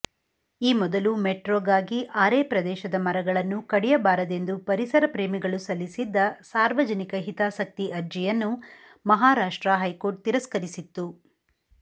ಈ ಮೊದಲು ಮೆಟ್ರೋಗಾಗಿ ಆರೇ ಪ್ರದೇಶದ ಮರಗಳನ್ನು ಕಡಿಯಬಾರದೆಂದು ಪರಿಸರಪ್ರೇಮಿಗಳು ಸಲ್ಲಿಸಿದ್ದ ಸಾರ್ವಜನಿಕ ಹಿತಾಸಕ್ತಿ ಅರ್ಜಿಯನ್ನು ಮಹಾರಾಷ್ಟ್ರ ಹೈಕೋರ್ಟ್ ತಿರಸ್ಕರಿಸಿತ್ತು